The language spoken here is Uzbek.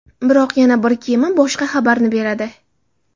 Biroq yana bir kema boshqa xabarni beradi.